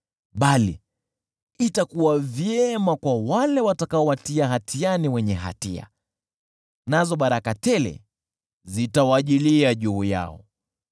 Bali itakuwa vyema kwa wale watakaowatia hatiani wenye hatia, nazo baraka tele zitawajilia juu yao.